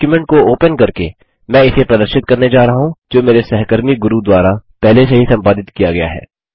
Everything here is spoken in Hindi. डॉक्युमेंट को ओपन करके मैं इसे प्रदर्शित करने जा रहा हूँ जो मेरे सहकर्मी गुरू द्वारा पहले से ही संपादित किया गया है